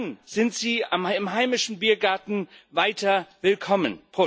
Dann sind Sie im heimischen Biergarten weiter willkommen.